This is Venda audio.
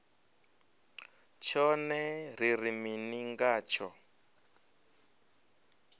tshone ri ri mini ngatsho